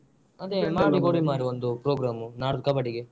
ಅದೇ ಮಾಡಿ ಕೊಡಿ ಮಾರೆ ಒಂದು program ನಾಡ್ದು ಕಬ್ಬಡಿಗೆ.